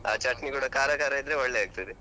ಆ ಚಟ್ನಿ ಕೂಡ ಖಾರ ಖಾರ ಇದ್ರೆ ಒಳ್ಳೆ ಆಗ್ತದೆ.